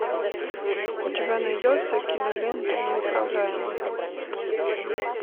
у тебя найдется кинолента неуправляемый